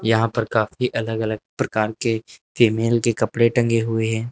यहां पर काफी अलग अलग प्रकार के फीमेल के कपड़े टंगे हुए हैं।